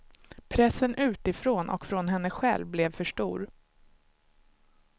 Pressen utifrån och från henne själv blev för stor.